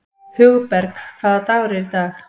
Hugberg, hvaða dagur er í dag?